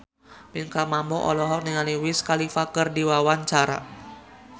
Pinkan Mambo olohok ningali Wiz Khalifa keur diwawancara